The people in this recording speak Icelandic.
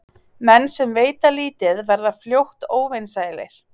Menn sem veita lítið verða fljótt óvinsælir.